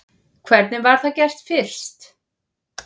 Hvernig var það gert fyrst?